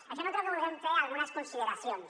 això no treu que vulguem fer algunes consideracions